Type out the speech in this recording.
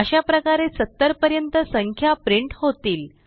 अशाप्रकारे 70 पर्यंत संख्या प्रिंट होतील